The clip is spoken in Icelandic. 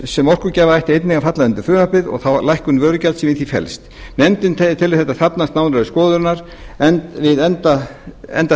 sem orkugjafa ættu einnig að falla undir frumvarpið og þá lækkun vörugjalds sem í því felst nefndin telur þetta þarfnast nánari skoðunar við enda